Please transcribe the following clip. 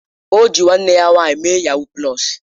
O ji nwanne ya nwanyị mee yahuu pulọs